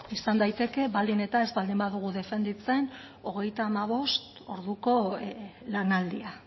izan daiteke baldin eta ez baldin badugu defenditzen hogeita hamabost orduko lanaldia